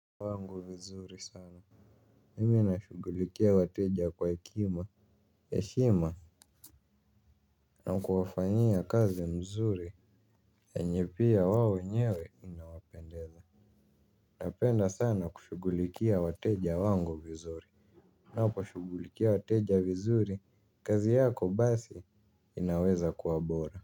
Wangu vizuri sana. Mimi nashughulikia wateja kwa hekima, heshima na kuwafanyia kazi mzuri yenye pia wao wenyewe inawapendeza. Napenda sana kushugulikia wateja wangu vizuri. Napo shughulikia wateja vizuri, kazi yako basi inaweza kuwa bora.